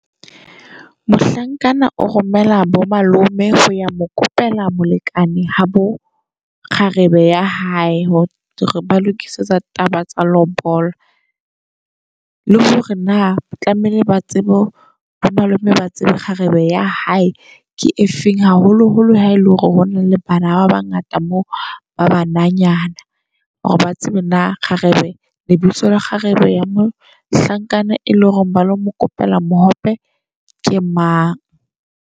Mohlankana o romela bo malome ho ya mo kopela molekane habo kgarebe ya hae. Hore ba lokisetsa taba tsa lobola le hore na tlameile ba tsebe bo malome ba tsebe kgarebe ya hae ke efeng. Haholoholo ha ele hore hona le bana ba bangata mooba banyanana. Hore ba tsebe hore na kgarebe lebitso la kgarebe ya mohlankana e leng hore ba lo mokopela mohope ke mang.